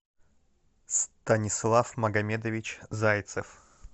станислав магомедович зайцев